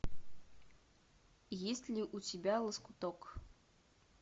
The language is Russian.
есть ли у тебя лоскуток